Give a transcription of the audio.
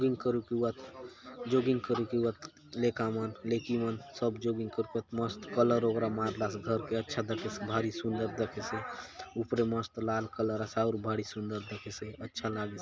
जॉगिंग करुक एवात लेका मन लेकि मन सब जॉगिंग करुआत मस्त कलर वगैरा मारला से घर के अच्छा दखेसे भारी सुन्दर दखेसे ऊपरे मस्त लाल कलर आसे आउर भारी सुंदर दखेसे अच्छा लागेसे।